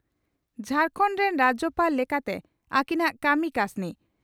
ᱡᱷᱟᱨᱠᱚᱸᱰ ᱨᱤᱱ ᱨᱟᱡᱭᱚᱯᱟᱲ ᱞᱮᱠᱟᱛᱮ ᱟᱹᱠᱤᱱᱟᱜ ᱠᱟᱹᱢᱤ ᱠᱟᱹᱥᱱᱤ